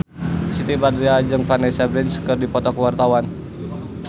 Siti Badriah jeung Vanessa Branch keur dipoto ku wartawan